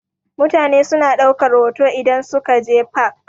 Mutane suna ɗaukar hoto idan suka je fak.